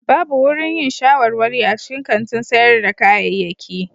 Babu wurin yin shawarwari a cikin kantin sayar da kayayyaki.